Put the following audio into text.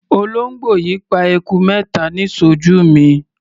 Olóńgbò yìí pa eku mẹ́ta níṣojú mi.